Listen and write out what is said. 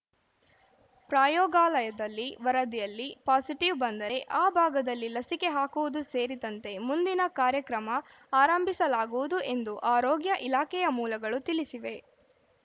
ಪ್ರಯೋಗಾಲಯದಲ್ಲಿ ವರದಿಯಲ್ಲಿ ಪಾಸಿಟಿವ್‌ ಬಂದರೆ ಆ ಭಾಗದಲ್ಲಿ ಲಸಿಕೆ ಹಾಕುವುದು ಸೇರಿದಂತೆ ಮುಂದಿನ ಕಾರ್ಯಕ್ರಮ ಆರಂಭಿಸಲಾಗುವುದು ಎಂದು ಆರೋಗ್ಯ ಇಲಾಖೆಯ ಮೂಲಗಳು ತಿಳಿಸಿವೆ